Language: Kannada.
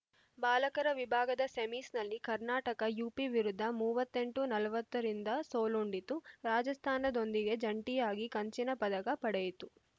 ಬಾಲಕರ ವಿಭಾಗದ ಸೆಮೀಸ್‌ನಲ್ಲಿ ಕರ್ನಾಟಕ ಯುಪಿ ವಿರುದ್ಧ ಮೂವತ್ತ್ ಎಂಟು ನಲವತ್ತರಿಂದ ಸೋಲುಂಡಿತು ರಾಜಸ್ಥಾನದೊಂದಿಗೆ ಜಂಟಿಯಾಗಿ ಕಂಚಿನ ಪದಕ ಪಡೆಯಿತು